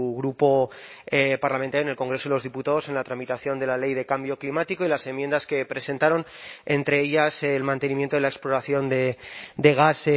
grupo parlamentario en el congreso de los diputados en la tramitación de la ley de cambio climático y las enmiendas que presentaron entre ellas el mantenimiento de la exploración de gas